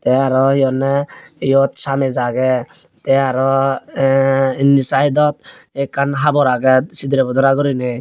te arow he honde eyot samech agey te arow indi saydod ekkan habor agey sidirey bodora gurinei.